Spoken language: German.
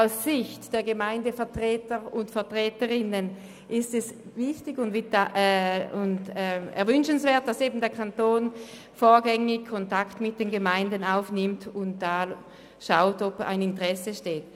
Aus Sicht der Gemeindevertreter und -vertreterinnen ist es wichtig und wünschenswert, dass der Kanton vorgängig Kontakt mit den Gemeinden aufnimmt und abklärt, ob ein Interesse besteht.